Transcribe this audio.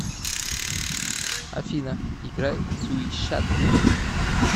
афина играй свиша т